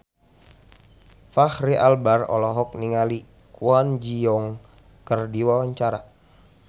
Fachri Albar olohok ningali Kwon Ji Yong keur diwawancara